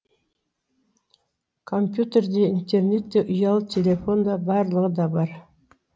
компьютер де интернет те ұялы телефон да барлығы да бар